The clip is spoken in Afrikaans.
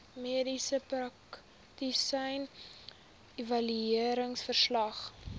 mediese praktisyn evalueringsverslag